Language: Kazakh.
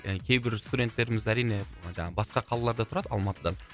кейбір студенттеріміз әрине жаңағы басқа қалаларда тұрады алматыдан